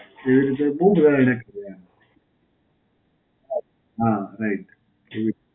એવી રીતે બહું જોયા એને કીધું એમ. હાં. હાં, right. એવી